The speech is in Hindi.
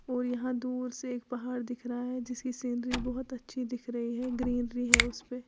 और यहां दूर से एक पहाड़ दिख रहा है जिसकी सीनरी बहुत अच्छी दिख रही है ग्रीनरी है उस पे।